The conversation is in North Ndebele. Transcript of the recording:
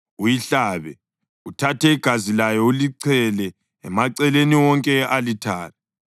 uyihlabe, uthathe igazi layo ulichele emaceleni wonke e-alithare.